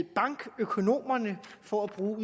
bankøkonomerne for at bruge